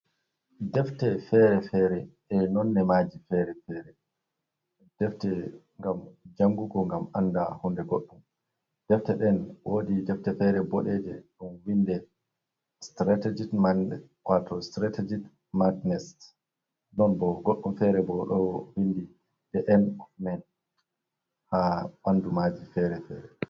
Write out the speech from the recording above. Defte feere-feere, e nonne maaji feere -feere; defte ngam jangugo ngam annda hunde goɗɗum. Defte ɗen woodi defte feere boɗeeje, ɗum vinndi sitireetegit man waato sitireetegit magnes, ɗon bo goɗɗum feere bo ɗo vinndi din ofman, haa ɓanndu maaji feere feere.